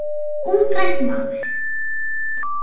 Þetta var útrætt mál.